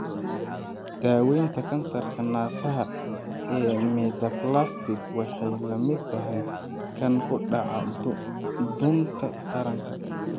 Daawaynta kansarka naasaha ee metaplastic waxay la mid tahay kan ku dhaca dhuunta taranka.